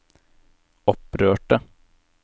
opprørte